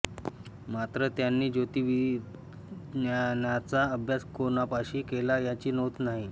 मात्र त्यांनी ज्योतिर्विज्ञानाचा अभ्यास कोणापाशी केला यांची नोंद नाही